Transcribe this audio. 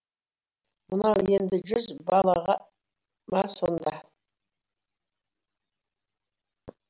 мынау енді жүз балаға ма сонда